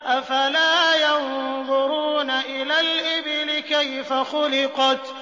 أَفَلَا يَنظُرُونَ إِلَى الْإِبِلِ كَيْفَ خُلِقَتْ